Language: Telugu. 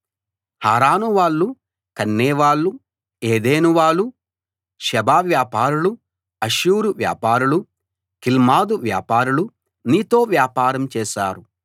హారాను వాళ్ళు కన్నే వాళ్ళు ఏదెను వాళ్ళు షేబ వ్యాపారులు అష్షూరు వ్యాపారులు కిల్మదు వ్యాపారులు నీతో వ్యాపారం చేశారు